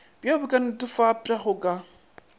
bjoo bo ka netefatpwago ka